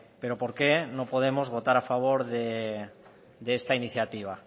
pero por qué no podemos votar a favor de esta iniciativa